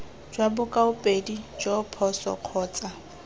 jwa bokaopedi joo phoso kgotsa